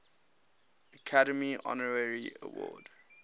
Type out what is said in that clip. academy honorary award